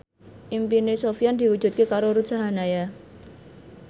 impine Sofyan diwujudke karo Ruth Sahanaya